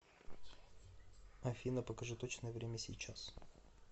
афина покажи точное время сейчас